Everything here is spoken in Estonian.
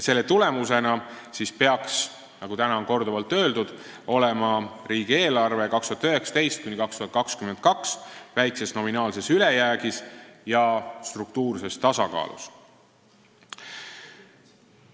Selle tulemusena peaks, nagu täna on korduvalt öeldud, riigieelarve aastatel 2019–2022 olema väikses nominaalses ülejäägis ja struktuurses tasakaalus.